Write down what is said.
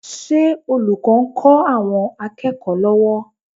Ṣé olùkọ́ ń kọ́ àwọn akẹ́kọ̀ọ́ lọ́wọ́?